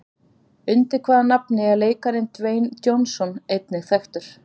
Undir hvaða nafni er leikarinn Dwayne Johnson einnig þekktur?